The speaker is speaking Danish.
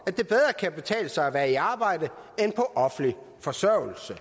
at betale sig at være i arbejde end på offentlig forsørgelse